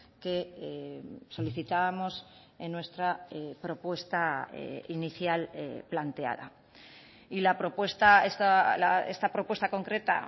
que solicitábamos en nuestra propuesta inicial planteada y la propuesta esta propuesta concreta